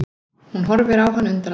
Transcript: Hún horfir á hann undrandi.